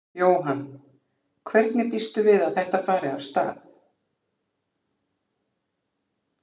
Jóhann: Hvernig býstu við að þetta fari af stað?